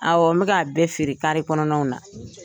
Awɔ n bɛ ka bɛɛ feere kaare kɔnɔnaw na.